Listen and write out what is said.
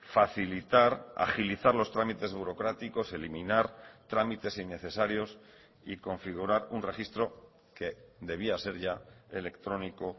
facilitar agilizar los trámites burocráticos eliminar trámites innecesarios y configurar un registro que debía ser ya electrónico